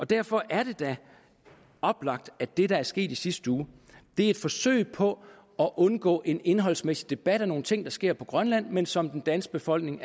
derfor er det da oplagt at det der skete i sidste uge er et forsøg på at undgå en indholdsmæssig debat om nogle ting der sker på grønland men som den danske befolkning